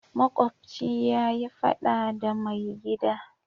Makobci ya yi fada da mai gida.